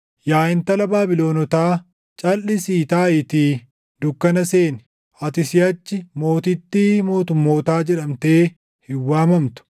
“Yaa Intala Baabilonotaa, calʼisii taaʼiitii dukkana seeni; ati siʼachi mootittii mootummootaa jedhamtee hin waamamtu.